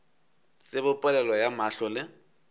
tsebe polelo ya mahlo le